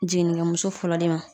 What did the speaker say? Jiginnikɛmuso fɔlɔ de ma